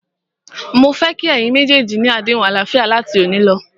Mó fẹ́ kí ẹ̀yin méjèèjì ni àdéhùn àlàáfíà láti òní lọ.!